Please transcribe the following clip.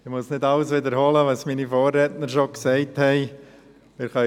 Ich muss nicht alles wiederholen, was meine Vorredner bereits gesagt haben.